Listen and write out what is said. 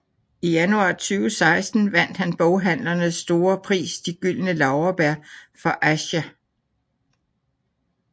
I januar 2016 vandt han boghandlernes store pris De gyldne laurbær for Aisha